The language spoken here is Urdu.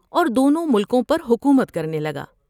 اور دونوں ملکوں پر حکومت کرنے لگا ۔